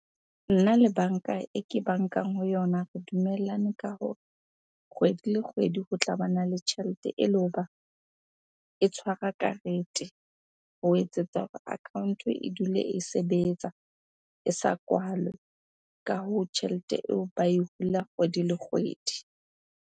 Nna le banka e ke bankang ho yona re dumellane ka hore kgwedi le kgwedi ho tla bana le tjhelete ele hoba e tshwara karete. Ho etsetsa hore account-o e dule e sebetsa, e sa kwalwe. Ka hoo, tjhelete eo ba e hula kgwedi le kgwedi.